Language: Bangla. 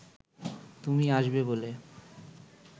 তুমি আসবে বলে